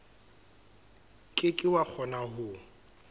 ke ke wa kgona ho